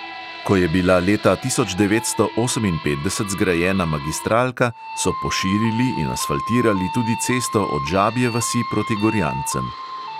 Ko je bila leta tisoč devetsto oseminpetdeset zgrajena magistralka, so poširili in asfaltirali tudi cesto od žabje vasi proti gorjancem.